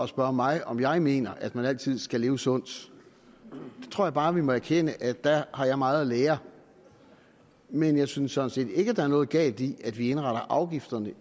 spørge mig om jeg mener at man altid skal leve sundt jeg tror bare vi må erkende at der har jeg meget at lære men jeg synes sådan set ikke der er noget galt i at vi indretter afgifterne